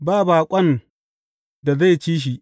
Ba baƙon da zai ci shi.